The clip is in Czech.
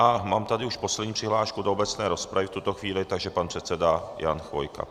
A mám tady už poslední přihlášku do obecné rozpravy v tuto chvíli, takže pan předseda Jan Chvojka.